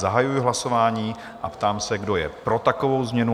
Zahajuji hlasování a ptám se, kdo je pro takovou změnu?